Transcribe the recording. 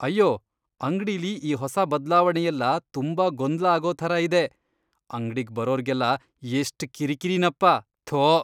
ಅಯ್ಯೋ ಅಂಗ್ಡಿಲಿ ಈ ಹೊಸ ಬದ್ಲಾವಣೆಯೆಲ್ಲ ತುಂಬಾ ಗೊಂದ್ಲ ಆಗೋ ಥರ ಇದೆ. ಅಂಗ್ಡಿಗ್ ಬರೋರ್ಗೆಲ್ಲ ಎಷ್ಟ್ ಕಿರಿಕಿರಿನಪ್ಪ..ಥೋ.